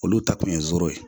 Olu ta kun ye zoro ye